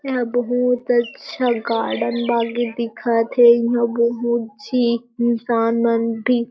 यहाँ बहुत अच्छा गार्डन बागे दिखत हे यहाँ बहुत छी इंसान मन भी--